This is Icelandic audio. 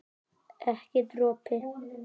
Ekki dropi.